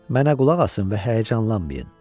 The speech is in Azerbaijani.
Mənə qulaq asın və həyəcanlanmayın.